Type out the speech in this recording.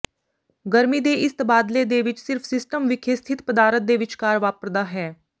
ਗਰਮੀ ਦੇ ਇਸ ਤਬਾਦਲੇ ਦੇ ਵਿੱਚ ਸਿਰਫ ਸਿਸਟਮ ਵਿਖੇ ਸਥਿਤ ਪਦਾਰਥ ਦੇ ਵਿਚਕਾਰ ਵਾਪਰਦਾ ਹੈ